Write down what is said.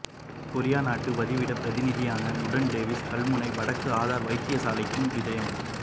கொரிய நாட்டு வதிவிடப்பிரதிநிதியான லுடேன் டேவிஸ் கல்முனை வடக்கு ஆதார வைத்தியசாலைக்கும் விஜயம்